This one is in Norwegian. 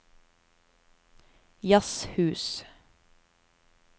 jazzhus